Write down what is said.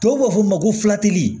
Tubabu b'a fɔ ma ko